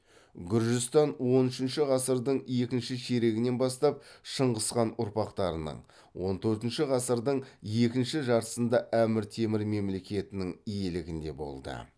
гүржістан он үшінші ғасырдың екінші ширегінен бастап шыңғыс хан ұрпақтарының он төртінші ғасырдың екінші жартысында әмір темір мемлекетінің иелігінде болды